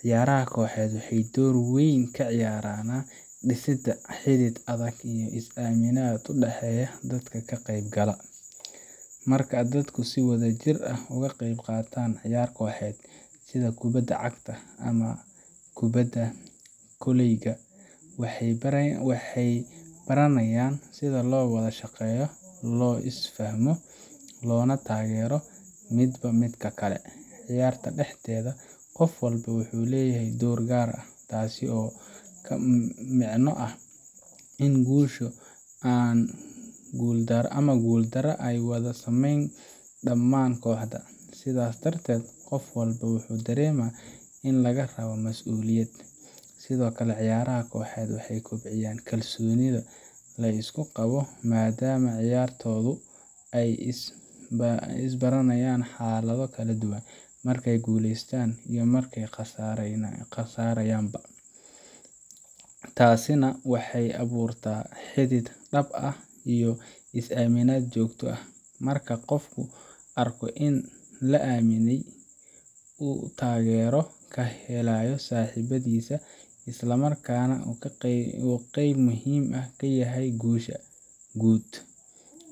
Ciyaaraha kooxeed waxay door weyn ka ciyaaraan dhisidda xidhiidh adag iyo is aaminaad u dhaxaysa dadka ka qaybgalaya. Marka dadku si wadajir ah uga qayb qaataan ciyaar kooxeed, sida kubadda cagta ama kubadda kolayga, waxay baranayaan sida loo wada shaqeeyo, loo is fahmo, loona taageero midba midka kale. Ciyaarta dhexdeeda, qof walba wuxuu leeyahay door gaar ah, taas oo la micno ah in guusha ama guuldarra ay wada saameyneyso dhammaan kooxda, sidaas darteedna qof walba wuxuu dareemaa in laga rabo masuuliyad. Sidoo kale, ciyaaraha kooxeed waxay kobciyaan kalsoonida la isku qabo, maadaama ciyaartoydu ay is baranayaan xaalado kala duwan markay guuleystaan iyo markay khasaarayaanba. Taasina waxay abuurtaa xidhiidh dhab ah iyo is aaminaad joogto ah. Marka qofku arko in la aaminsan yahay, uu taageero ka helayo saaxiibadiis, isla markaana uu qeyb muhiim ah ka yahay guusha guud,